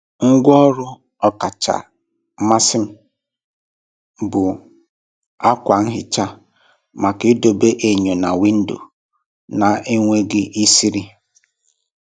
Ngwá ọrụ ọkacha mmasị m bụ ákwà nhicha maka idobe enyo na windo na-enweghị isiri.